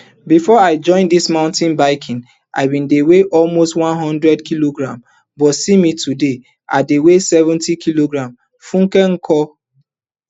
bifor i join dis mountain biking i bin dey weigh almost one hundred kilograms but see me today i dey weigh seventy kilograms funke nkor